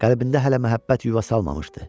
Qəlbində hələ məhəbbət yuva salmamışdı.